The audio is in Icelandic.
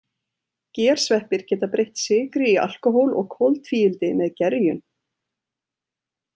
Gersveppir geta breytt sykri í alkóhól og koltvíildi með gerjun.